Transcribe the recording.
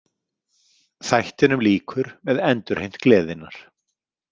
Þættinum lýkur með endurheimt gleðinnar.